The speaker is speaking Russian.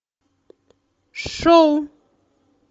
шоу